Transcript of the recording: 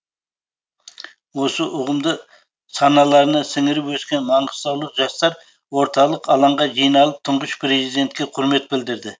осы ұғымды саналарына сіңіріп өскен маңғыстаулық жастар орталық алаңға жиналып тұңғыш президентке құрмет білдірді